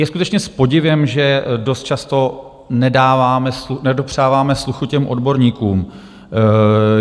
Je skutečně s podivem, že dost často nedopřáváme sluchu těm odborníkům.